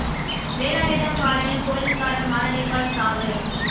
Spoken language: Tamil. வேலாயுதம்பாளையம் போலீஸ்காரர் மாரடைப்பால் சாவு